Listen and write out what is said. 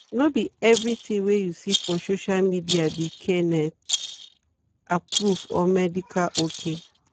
no be everything wey you see for social media be kenneth-approved or medical ok.